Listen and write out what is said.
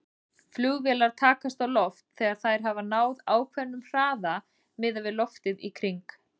Flugvélar takast á loft þegar þær hafa náð ákveðnum hraða miðað við loftið í kring.